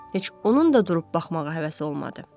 Heç onun da durub baxmağa həvəsi olmadı.